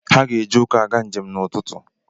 Ha ga-eji ụkwụ aga njem n'ụtụtụ.